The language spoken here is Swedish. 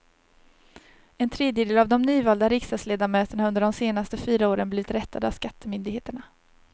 En tredjedel av de nyvalda riksdagsledamöterna har under de senaste fyra åren blivit rättade av skattemyndigheterna.